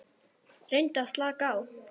Reyndu að slaka á.